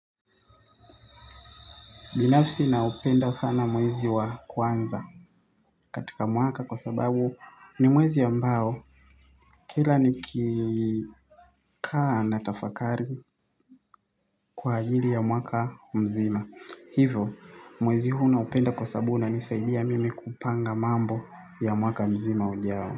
Binafsi naupenda sana mwezi wa kwanza katika mwaka kwa sababu ni mwezi ambao kila ni kikaa na tafakari kwa ajili ya mwaka mzima. Hivo mwezi huu naupenda kwa sababu unanisaidia mimi kupanga mambo ya mwaka mzima ujao.